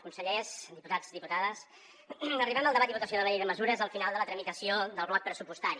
consellers diputats diputades arribem al debat i votació de la llei de mesures al final de la tramitació del bloc pressupostari